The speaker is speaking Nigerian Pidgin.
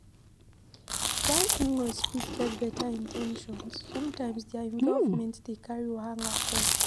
While in-laws fit get better in ten tions, sometimes their involvement dey carry wahala come